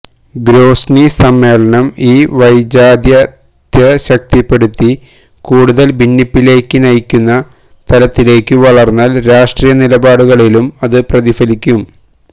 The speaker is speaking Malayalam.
ഗ്രോസ്നി സമ്മേളനം ഈ വൈജാത്യത്തെ ശക്തിപ്പെടുത്തി കൂടുതല് ഭിന്നിപ്പിലേക്കു നയിക്കുന്ന തലത്തിലേക്കു വളര്ന്നാല് രാഷ്ട്രീയ നിലപാടുകളിലും അതു പ്രതിഫലിക്കും